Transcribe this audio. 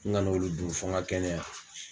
N kan'olu dun fo n ka kɛnɛya